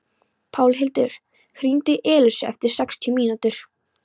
Pálhildur, hringdu í Elísu eftir sextíu mínútur.